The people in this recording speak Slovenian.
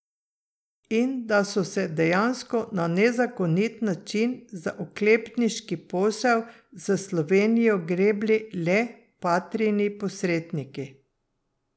In da so se dejansko na nezakonit način za oklepniški posel s Slovenijo grebli le Patrijini posredniki.